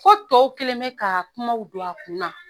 Ko tɔw kɛlen bɛ ka kumaw don a kun na.